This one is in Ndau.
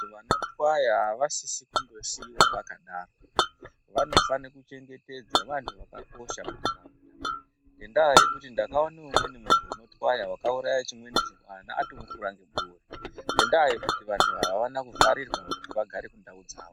Vanotwaya avasisi kundosiiwa vakadaro vanofane kuchengetedzwa vantu vakakosha muntaraunda ngendaya yekuti ndakaone umweni unotwaya wakauraye chimweni chimwana atomufura ngebuwe ngendaa yekuti vantu ava avane kuvharirwa kuti vagare kundau dzawo.